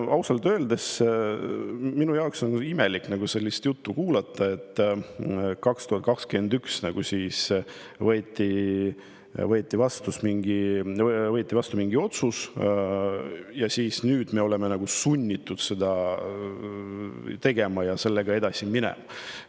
Ausalt öeldes on minul imelik kuulata sellist juttu, et 2021 võeti mingi otsus vastu ja nüüd me oleme nagu sunnitud sellega edasi minema.